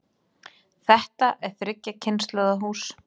Þetta er þriggja kynslóða hús.